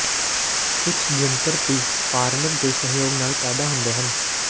ਕੁਝ ਜੰਤਰ P format ਦੇ ਸਹਿਯੋਗ ਨਾਲ ਪੈਦਾ ਹੁੰਦੇ ਹਨ